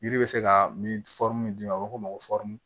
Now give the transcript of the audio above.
Yiri bɛ se ka min min di ma a bɛ fɔ o ma ko